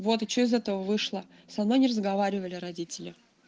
вот и что из этого вышло со мной не разговаривали родители